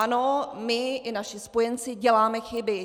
Ano, my i naši spojenci děláme chyby.